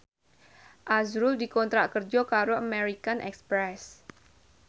azrul dikontrak kerja karo American Express